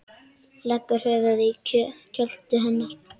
Leggur höfuðið í kjöltu hennar.